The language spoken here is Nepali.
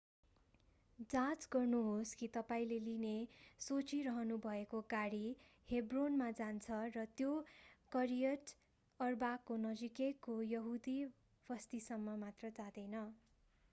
जाँच गर्नुहोस् कि तपाईंले लिने सोचिरहनुभएको गाडी हेब्रोनमा जान्छ र यो करियट अर्बाको नजिकैको यहुदी बस्तीसम्म मात्र जाँदैन